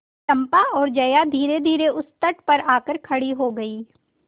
चंपा और जया धीरेधीरे उस तट पर आकर खड़ी हो गई